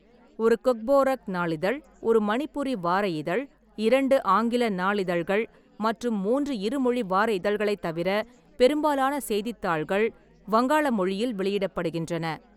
ஒரு கொக்போரோக் நாளிதழ், ஒரு மணிப்புரி வார இதழ், இரண்டு ஆங்கில நாளிதழ்கள் மற்றும் மூன்று இருமொழி வார இதழ்களைத் தவிர பெரும்பாலான செய்தித்தாள்கள் வங்காள மொழியில் வெளியிடப்படுகின்றன.